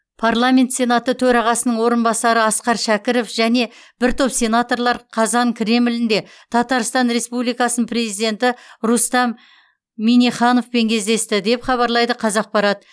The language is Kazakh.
парламент сенаты төрағасының орынбасары асқар шәкіров және бір топ сенаторлар қазан кремлінде татарстан республикасының президенті рустам миннихановпен кездесті деп хабарлайды қазақпарат